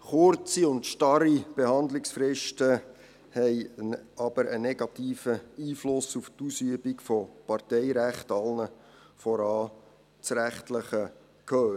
Kurze und starre Behandlungsfristen haben jedoch einen negativen Einfluss auf die Ausübung von Parteirecht, allen voran das rechtliche Gehör.